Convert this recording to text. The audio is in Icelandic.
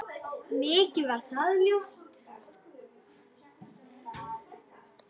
Mikið var það ljúft.